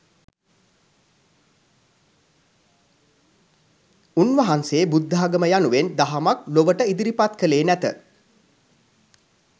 උන්වහන්සේ බුද්ධාගම යනුවෙන් දහමක් ලොවට ඉදිරිපත්කළේ නැත